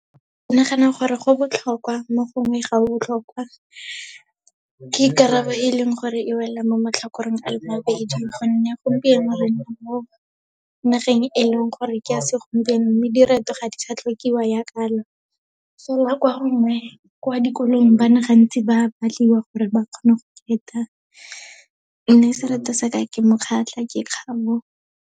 Ke nagana gore go botlhokwa mo gongwe ga o botlhokwa. Ke karabo e leng gore e wela mo matlhakoreng a mabedi gonne gompieno re mo nageng e leng gore ke ya segompieno, mme direto ga di sa tlhokiwa yaaka so kwa gongwe kwa dikolong bana gantsi ba batliwa gore ba kgone go mme sereto sa ka ke mokgatlha ke kgabo.